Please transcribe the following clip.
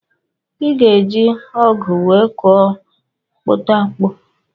Iga eji ọgụ wee kụọ mkputamkpu.